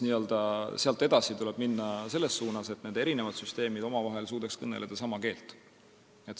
Sealt edasi tuleb minna selles suunas, et erinevad süsteemid suudaksid omavahel kõnelda sama keelt.